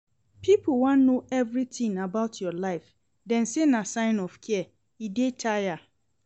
Pipo wan know everytin about your life, dem say na sign of care, e dey tire.